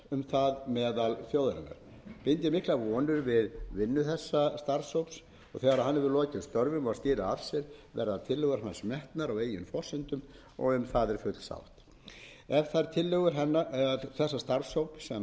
miklar vonir við vinnu þessarar nefndar þegar að hún hefur lokið störfum og skilað af sér verða tillögur hennar metnar á eigin forsendum og um það er full sátt ef þær tillögur hennar sem samþykktar